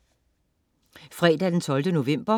Fredag den 12. november